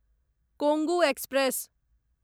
Kongu express